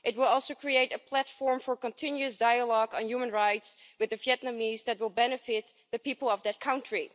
it will also create a platform for continuous dialogue on human rights with the Vietnamese that will benefit the people of that country.